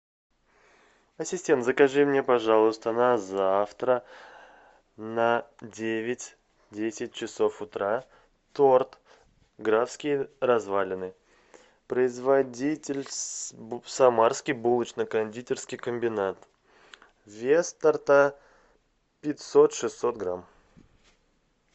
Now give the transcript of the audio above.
ассистент закажи мне пожалуйста на завтра на девять десять часов утра торт графские развалины производитель самарский булочно кондитерский комбинат вес торта пятьсот шестьсот грамм